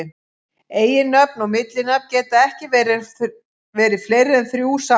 Eiginnöfn og millinafn geta ekki verið fleiri en þrjú samtals.